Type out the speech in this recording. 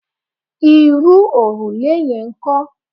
Irú òrùlé yẹn ńkọ́?